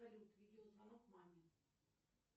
салют видеозвонок маме